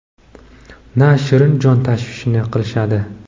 na shirin jon tashvishini qilishadi.